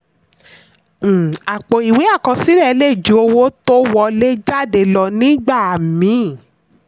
um àpọ̀ ìwé àkọsílẹ̀ lè ju owó tó wọlé/jáde lọ nígbà míì.